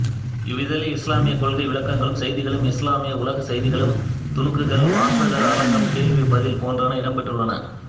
இவ்விதழில் இஸ்லாமிய கொள்கை விளக்கங்களும் செய்திகளும் இஸ்லாமிய உலக செய்திகளும் துணுக்குகள் வாசகர் அரங்கம் கேள்வி பதில் போன்றன இடம்பெற்றுள்ளன